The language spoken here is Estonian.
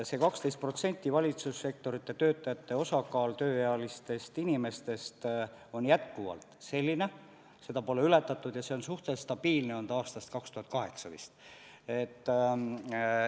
See 12% – valitsussektori töötajate osakaal tööealiste inimeste arvus – on jätkuvalt selline, seda pole ületatud ja see on suhteliselt stabiilne olnud aastast 2008 vist.